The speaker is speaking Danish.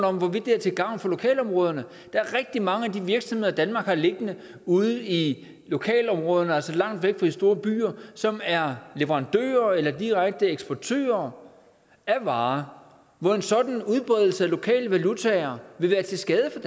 om hvorvidt det er til gavn for lokalområderne der er rigtig mange af de virksomheder danmark har liggende ude i lokalområderne altså langt væk fra de store byer som er leverandører eller direkte eksportører af varer og hvor en sådan udbredelse af lokale valutaer vil være til skade for